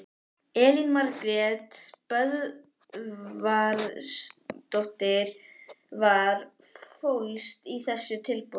Elín Margrét Böðvarsdóttir: Hvað fólst í þessu tilboði?